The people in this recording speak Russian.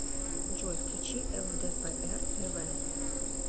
джой включи эл дэ пэ эр тэ вэ